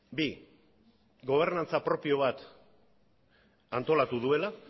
bi gobernantza propio bat antolatu duela